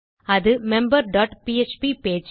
அது member dot PHP page